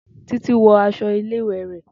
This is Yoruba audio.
Titi wọ aṣọ ile-iwe rẹ.